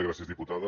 gràcies diputada